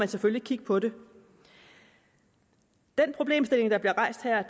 selvfølgelig kigge på den den problemstilling der bliver rejst her